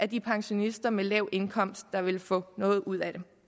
de pensionister med lav indkomst der vil få noget ud af det